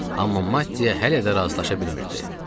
Amma Matte hələ də razılaşa bilmirdi.